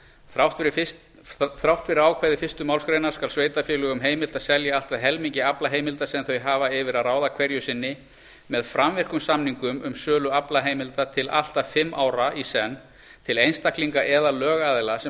þrátt fyrir ákvæði fyrstu málsgrein skal sveitarfélögum heimilt að selja allt að helmingi aflaheimilda sem þau hafa yfir að ráða hverju sinni með framvirkum samningum um sölu aflaheimilda til allt að fimm ára í senn til einstaklinga eða lögaðila sem